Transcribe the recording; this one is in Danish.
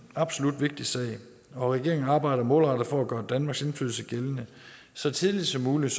absolut en vigtig sag og regeringen arbejder målrettet for at gøre danmarks indflydelse gældende så tidligt som muligt